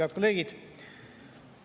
Head kolleegid!